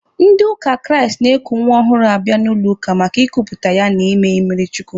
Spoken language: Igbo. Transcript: Ndị ụka Kraịst na-eku nwa ọhụrụ ha bịa n'ụlọ ụka maka ịkuputa ya na ime mmiri chukwu.